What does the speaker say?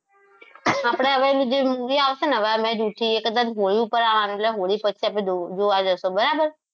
આપણે હવે જે movie આવશે ને આજે કદાચ હોળી ઉપર આવવાનું કદાચ હોળી પછી આપણે જોવા જઈશું બરાબર